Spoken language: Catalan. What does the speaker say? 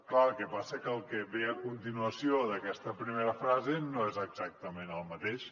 clar el que passa que el que ve a continuació d’aquesta primera frase no és exactament el mateix